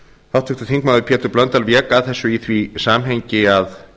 háttvirtur þingmaður pétur blöndal vék að þessu í því samhengi að